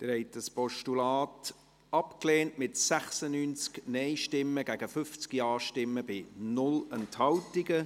Sie haben dieses Postulat abgelehnt, mit 50 Ja- zu 96 Nein-Stimmen bei 0 Enthaltungen.